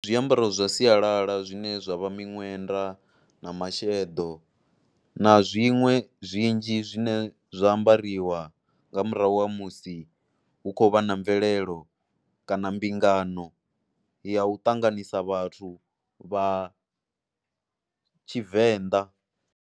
Zwiambaro zwa sialala zwine zwa vha miṅwenda na masheḓo na zwiṅwe zwinzhi zwine zwa ambariwa nga murahu ha musi hu khou vha na mvelelo kana mbingano ya u ṱanganisa vhathu vha Tshivenḓa.